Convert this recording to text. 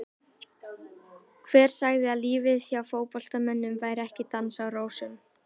Hver sagði að lífið hjá fótboltamönnum væri ekki dans á rósum?